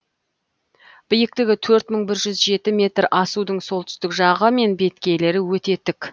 биіктігі төрт мың бір жүз жеті метр асудың солтүстік жағы мен беткейлері өте тік